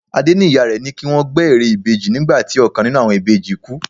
Adé ní ìyá rẹ ní kí wọ́n gbẹ́ ère ìbejì nígbà tí ọ̀kan nínú àwọn ìbejì kú.